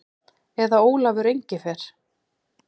Eða Ólafur Engifer.